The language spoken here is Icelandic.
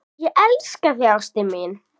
Ég elska þig, ástin mín.